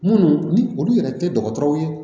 Minnu ni olu yɛrɛ tɛ dɔgɔtɔrɔw ye